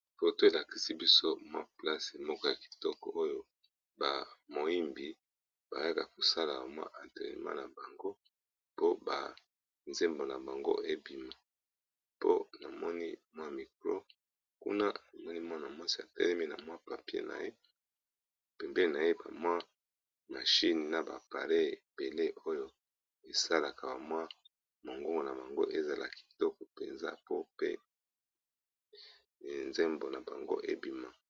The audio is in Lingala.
Foto elakisi biso mwa place moko ya kitoko oyo ba moyembi bayaka kosala ba mwa entrenema na bango po ba nzembo na bango ebima. Po namoni mwa micro kuna namoni mwana mwasi atelemi na mwa papier, naye pembe na ye ba mwa mashine na ba appareils ebele oyo esalaka mwa mongongo na bango ezala kitoko mpenza, pe nzembo na bango ebima.